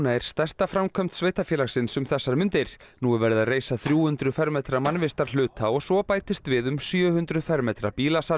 er stærsta framkvæmd sveitarfélagsins um þessar mundir nú er verið að reisa þrjú hundruð fermetra mannvistarhluta og svo bætist við um sjö hundruð fermetra